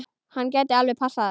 Hann gæti alveg passað það.